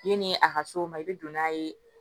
Yanni a ka s'o ma i bɛ don n'a ye